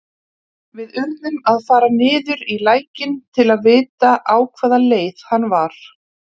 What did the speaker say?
Við urðum að fara niður í lækinn til að vita á hvaða leið hann var.